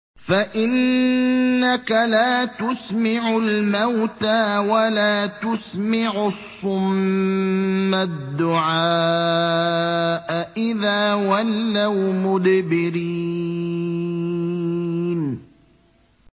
فَإِنَّكَ لَا تُسْمِعُ الْمَوْتَىٰ وَلَا تُسْمِعُ الصُّمَّ الدُّعَاءَ إِذَا وَلَّوْا مُدْبِرِينَ